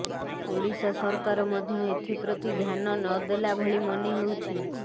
ଓଡ଼ିଶା ସରକାର ମଧ୍ୟ ଏଥିପ୍ରତି ଧ୍ୟାନ ନଦେଲା ଭଳି ମନେହେଉଛି